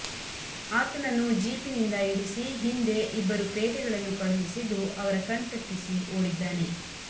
ಆತನನನ್ನು ಜೀಪಿನಿಂದ ಇಳಿಸಿ ಹಿಂದೆ ಇಬ್ಬರು ಪೇದೆಗಳನ್ನು ಕಳುಹಿಸಿದ್ದು ಅವರ ಕಣ್ತಪ್ಪಿಸಿ ಓಡಿದ್ದಾನೆ